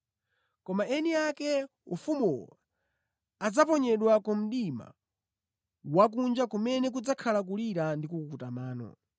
Koma eni ake ufumuwo adzaponyedwa ku mdima wakunja kumene kudzakhala kulira ndi kukukuta mano.”